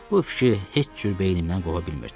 Bu fikir heç cür beynimdən qova bilmirdim.